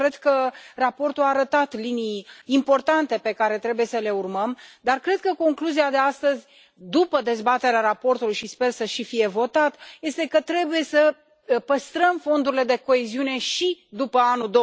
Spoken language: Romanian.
Eu cred că raportul a arătat linii importante, pe care trebuie să le urmăm, dar cred că concluzia de astăzi, după dezbaterea raportului și sper și să fie votat, este că trebuie să păstrăm fondurile de coeziune și după anul